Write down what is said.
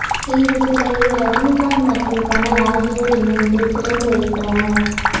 இந்த சிலையை ரஜினிகாந்த் மற்றும் கமல் ஆகியோர் இணைந்து திறந்து வைத்தனர்